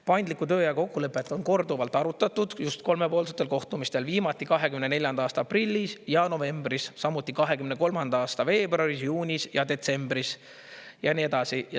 Paindliku tööaja kokkulepet on korduvalt arutatud just kolmepoolsetel kohtumistel, viimati 2024. aasta aprillis ja novembris, samuti 2023. aasta veebruaris, juunis ja detsembris ja nii edasi.